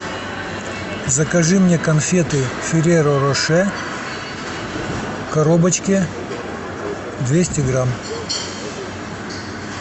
закажи мне конфеты ферреро роше в коробочке двести грамм